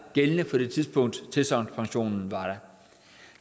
gældende på det tidspunkt tilsagnspensionen